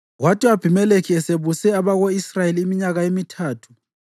Kwathi u-Abhimelekhi esebuse abako-Israyeli iminyaka emithathu